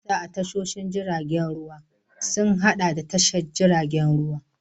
Sassan a cikin tashoshin jiragen ruwa sun haɗa da tashar jiragen ruwa da ɗakunan ajiya.